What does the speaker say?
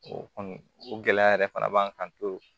O kɔni o gɛlɛya yɛrɛ fana b'an kan